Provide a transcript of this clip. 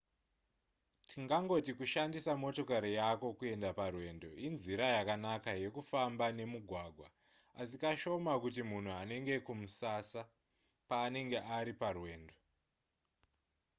tingangoti kushandisa motokari yako kuenda parwendo inzira yakanaka yekufamba nemugwagwa asi kashoma kuti munhu anange kumusasa paanenge ari parwendo